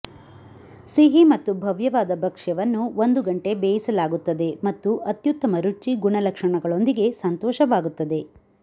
ಸಿಹಿ ಮತ್ತು ಭವ್ಯವಾದ ಭಕ್ಷ್ಯವನ್ನು ಒಂದು ಗಂಟೆ ಬೇಯಿಸಲಾಗುತ್ತದೆ ಮತ್ತು ಅತ್ಯುತ್ತಮ ರುಚಿ ಗುಣಲಕ್ಷಣಗಳೊಂದಿಗೆ ಸಂತೋಷವಾಗುತ್ತದೆ